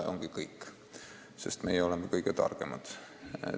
Ja ongi kõik, sest meie oleme kõige targemad.